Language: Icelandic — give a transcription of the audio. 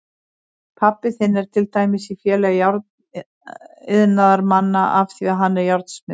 Pabbi þinn er til dæmis í Félagi járniðnaðarmanna af því að hann er járnsmiður.